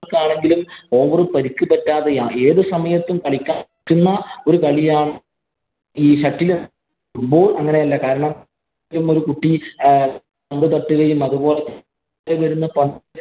ആളുകള്‍ക്കാണെങ്കിലും over പരിക്ക് പറ്റാതെയും, ഏതു സമയത്തും കളിക്കുന്ന കളിയാണ് ഈ shuttle കാരണം ഒരു കുട്ടി